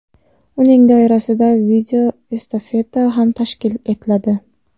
Uning doirasida video estafeta ham tashkil etiladi.